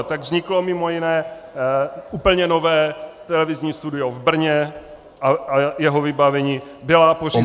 A tak vzniklo mimo jiné úplně nové televizní studio v Brně a jeho vybavení, byla pořízena -